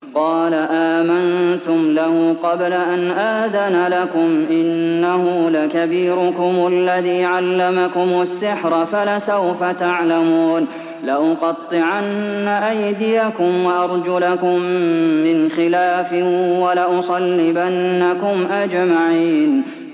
قَالَ آمَنتُمْ لَهُ قَبْلَ أَنْ آذَنَ لَكُمْ ۖ إِنَّهُ لَكَبِيرُكُمُ الَّذِي عَلَّمَكُمُ السِّحْرَ فَلَسَوْفَ تَعْلَمُونَ ۚ لَأُقَطِّعَنَّ أَيْدِيَكُمْ وَأَرْجُلَكُم مِّنْ خِلَافٍ وَلَأُصَلِّبَنَّكُمْ أَجْمَعِينَ